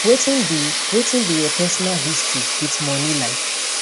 wetin be wetin be your personal history wit money like